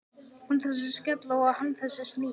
Hún þessi skella og hann þessi snigill.